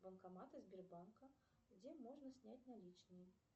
банкоматы сбербанка где можно снять наличные